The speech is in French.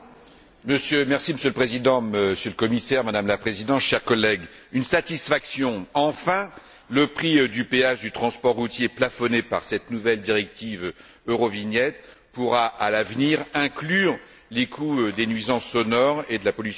Monsieur le Président, Monsieur le Commissaire, Madame la Présidente, chers collègues, une satisfaction enfin le prix du péage du transport routier plafonné par cette nouvelle directive Eurovignette pourra, à l'avenir, inclure les coûts des nuisances sonores et de la pollution atmosphérique.